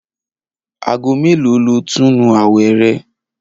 Aago mélòó lo óò túnu àwè̩ re̩?